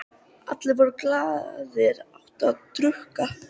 Allir voru glaðir, átu og drukku.